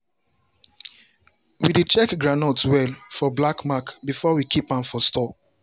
we dey check groundnut well for black mark before we keep am for store.